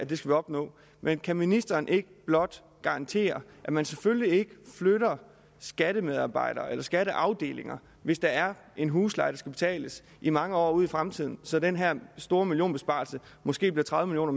vi skal opnå men kan ministeren ikke blot garantere at man selvfølgelig ikke flytter skattemedarbejdere eller skatteafdelinger hvis der er en husleje der skal betales i mange år ud i fremtiden så den her store millionbesparelse måske bliver tredive